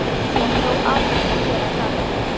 Ég er þó altént að gera gagn.